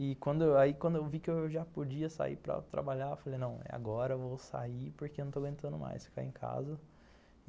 E aí, quando eu vi que eu já podia sair para trabalhar, eu falei, não, é agora, eu vou sair porque eu não estou aguentando mais ficar em casa.